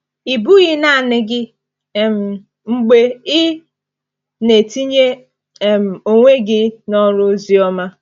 Ị bụghị naanị gị um mgbe ị na-etinye um onwe gị n’ọrụ oziọma.